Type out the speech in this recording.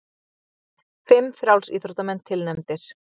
Fimm frjálsíþróttamenn tilnefndir